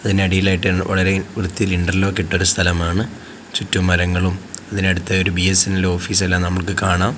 അതിനടിയിലായിട്ട് വളരെ വൃത്തിയിൽ ഇൻറർലോക്ക് ഇട്ട ഒരു സ്ഥലമാണ് ചുറ്റും മരങ്ങളും അതിനടുത്തായി ഒരു ബി_എസ്_എൻ_എൽ ഓഫീസ് എല്ലാം നമുക്ക് കാണാം.